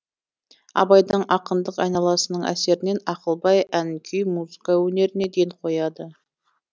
абайдың ақындық айналасының әсерінен ақылбай ән күй музыка өнеріне ден қояды